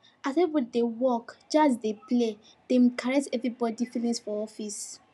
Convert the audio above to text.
as everybody dey work jazz dey play dey carress everybody feelings for office